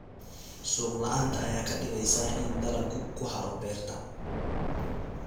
Suuq la'aanta ayaa ka dhigaysa in dalaggu ku haro beerta.